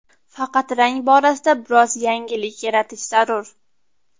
Faqat rang borasida biroz yangilik yaratish zarur.